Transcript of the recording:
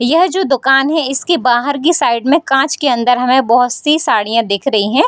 यह जो दोकान है इसके बाहर की साइड में कांच के अंदर हमें बहुत-सी साड़ियां दिख रही है।